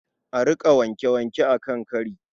A riƙa wanke-wanke a kan kari.